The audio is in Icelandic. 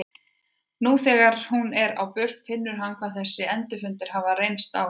Nú þegar hún er á burt finnur hann hvað þessir endurfundir hafa reynt á hann.